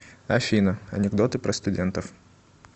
афина анекдоты про студентов